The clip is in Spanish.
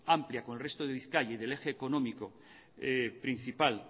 amplia con el resto de bizkaia y del eje económico principal